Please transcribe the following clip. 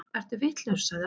Ertu vitlaus, sagði Arnór.